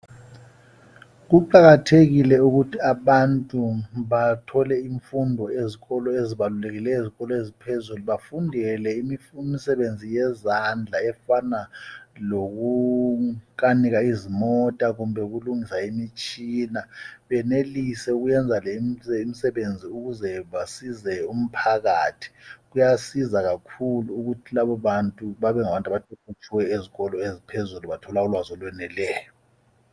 Kuqakathekile ukuthi abantu bathole imfundo ezikolo ezibalulekile ezikolo eziphezulu bafundele imisebenzi yezandla efana lokukanika izimota kumbe ukulungisa imitshina bemelise ukuyenza le imisebenzi ukuze besize umphakathi kuyasiza kakhulu ukuthi labo bantu bebe ngabantu abaqeqetshileyo phezulu bethole imisebenzi efaneleyo